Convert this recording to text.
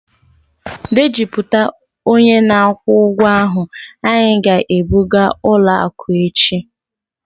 Dejupụta onye na-akwụ ụgwọ ahụ, anyị ga-ebuga ụlọ akụ echi..